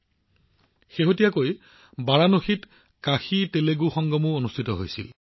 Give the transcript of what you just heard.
কাশীতেলেগু সংগম অলপতে বাৰাণসীত অনুষ্ঠিত হৈছিল